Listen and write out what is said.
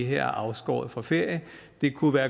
her er afskåret fra ferie det kunne være